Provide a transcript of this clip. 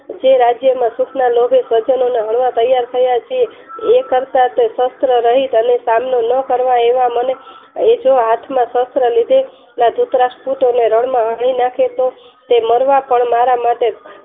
તે રાજ્ય માં કેટલા લોકો સજ્જન ના હળવા તૈયાર થયા છીએ એ કરતા શસ્ત્ર રહિત નો સામનો ના કરવા એવા મને એ જો હાથમાં શસ્ત્ર લીધે ધૃતરાષ્ટ્ર પુત્ર અને રણ માં હણી નાખે તે મરવા પણ મારા માટે